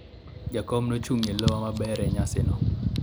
jakom ne ochung' e lowa maber e nyasi no